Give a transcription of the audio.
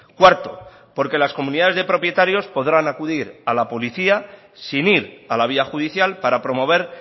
cuarto porque las comunidades de propietarios podrán acudir a la policía sin ir a la vía judicial para promover